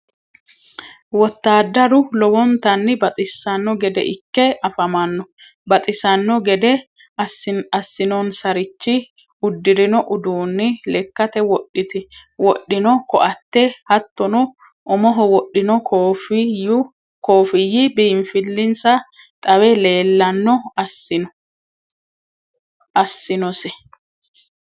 wottadaru lowontanni baxisanno gedde ike afamanno baxisano geddeni asinonsarichi udirinno uduuni lekate wodhinno koatte hatonno umoho wodhino kofiyi biinfilissa xawe leelano asinnose.